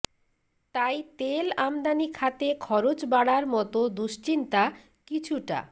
তাই তেল আমদানি খাতে খরচ বাড়ার মতো দুশ্চিন্তা কিছুটা